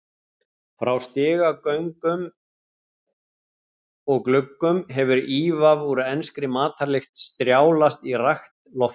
Frá stigagöngum og gluggum hefur ívaf úr enskri matarlykt strjálast í rakt loftið.